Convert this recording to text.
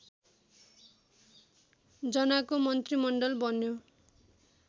जनाको मन्त्रीमण्डल बन्यो